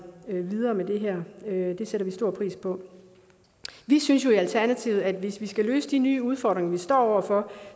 videre med det her det sætter vi stor pris på vi synes jo i alternativet at hvis vi skal løse de nye udfordringer vi står over for